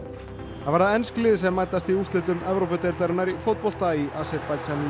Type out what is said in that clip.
það verða ensk lið sem mætast í úrslitum Evrópudeildarinnar í fótbolta í Aserbaídsjan í